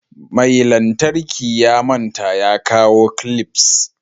Mai lantarki ya manta ya kawo "clips".